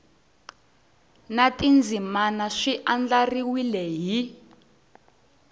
na tindzimana swi andlariwile hi